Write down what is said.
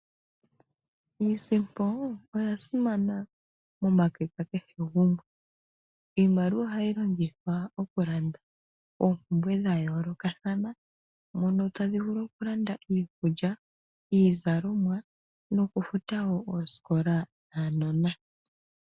Iisimpo oya simana momake ga kehe gumwe. Iimaliwa ohayi longithwa oku landa oompumbwe dha yoolokathana, mono tadhi vulu oku landa iikulya, iizalomwa noku futa wo oosikola dhaanona.